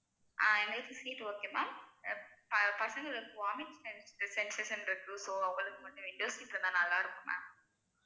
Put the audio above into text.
ஆஹ் எங்களுக்கு seat okay ma'am ஆ பசங்களோட vomit sensation இருக்கு so அவளுக்கு மட்டும் window seat இருந்தா நல்லா இருக்கும் ma'am